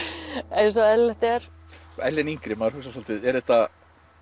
eins og eðlilegt er Ellen yngri maður hugsar svolítið er þetta